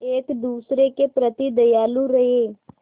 एक दूसरे के प्रति दयालु रहें